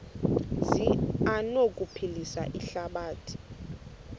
zi anokuphilisa ihlabathi